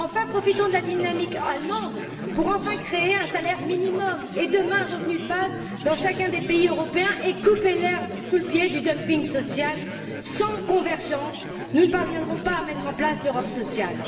Profitons de la dynamique allemande pour enfin créer un salaire minimum et, demain, un revenu de base dans chacun des pays européens, afin de couper l'herbe sous le pied du dumping social! Sans convergence, nous ne parviendrons pas à mettre en place l'Europe sociale.